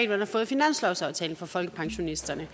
man har fået i finanslovsaftalen for folkepensionisterne